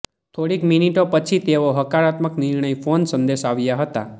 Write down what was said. થોડીક મિનિટો પછી તેઓ હકારાત્મક નિર્ણય ફોન સંદેશ આવ્યા હતા